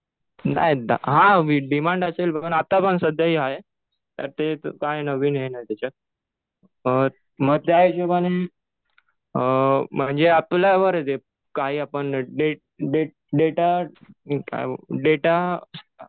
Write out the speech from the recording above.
नाही दहा. हा डिमांड असेल. आता पण सध्याही आहे. त्यात ते काय आहे नवीन आहे ना त्याच्यात.मग त्या हिशोबाने म्हणजे आपल्यावर आहे ते काय आपण डेटा काय डेटा